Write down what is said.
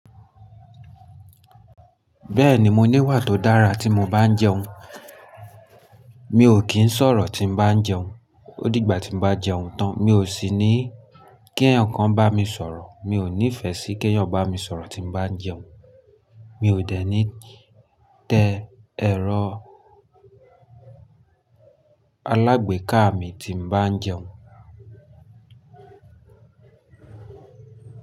Bẹ́ẹ̀ni mo níwà to dàrá ti mo ba n jẹun. Mi ò kí ń sọ̀rọ̀ tí ń bá ń jẹun. Ó dìgbà tí bá jẹun tán, mi ò sì ní kí ẹ̀ẹ̀kan bá mi sọ̀rọ̀. Mi ò nífẹ̀ẹ́ sí k'èyàn bá mi sọ̀rọ̀ tí bá ń jẹun. Mi ò dẹ̀ ní tẹ́ ẹrọ alágbèéká mi tí bá ń jẹun.